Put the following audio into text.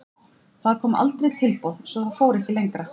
Það koma aldrei tilboð svo það fór ekkert lengra.